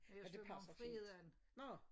Men det passer fint. Nå